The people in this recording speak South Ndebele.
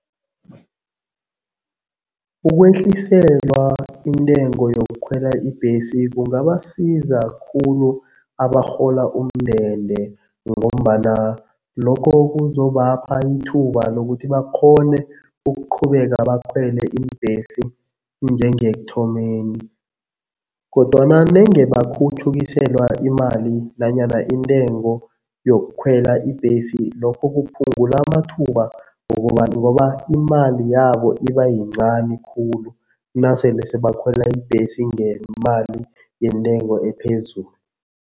Ukwehliselwa intengo yokukhwela ibhesi kungabasiza khulu abarhola umndende ngombana lokho kuzobapha ithuba lokuthi bakghone ukuqhubeka bakhwele iimbhesi njengekuthomeni kodwana nenge bakhutjhukiselwa imali nanyana intengo yokukhwela ibhesi lokho kuphungula amathuba ngokobana ngoba imali yabo iba yincani khulu nasele sebakhwela ibhesi ngemali yentengo ephezulu.